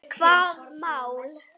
Hvaða mál?